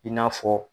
I n'a fɔ